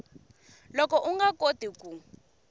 loko u nga koti ku